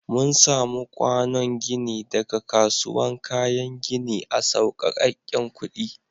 Mun samu kwànon ginin daga kasuwan kayan ginin a sauƙeken kuɗi.